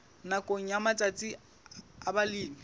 nakong ya matsatsi a balemi